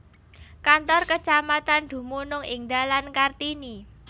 Kantor kecamatan dumunung ing Dalan Kartini